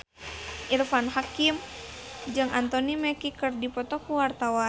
Irfan Hakim jeung Anthony Mackie keur dipoto ku wartawan